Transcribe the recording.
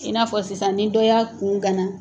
I n'a fɔ sisan ni dɔ y'a kun gana.